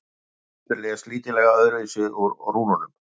höfundur les lítillega öðruvísi úr rúnunum